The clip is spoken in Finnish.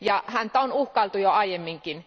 Häntä on uhkailtu jo aiemminkin.